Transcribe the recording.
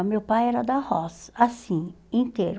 O meu pai era da roça, assim, inteiro.